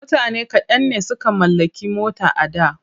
Mutane kaɗan ne suka mallaki mota a da.